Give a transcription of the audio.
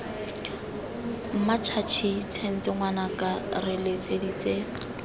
mmatšhatšhi tshenye ngwanaka re letseditse